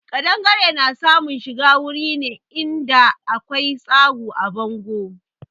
Ƙadangare na samun shiga wuri ne in da akwai tsagu a bangon.